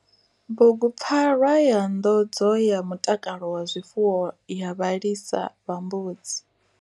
Bugupfarwa ya nḓodzo ya mutakalo wa zwifuwo ya vhalisa vha mbudzi.